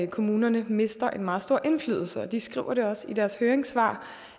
kommunerne mister en meget stor indflydelse og de skriver også i deres høringssvar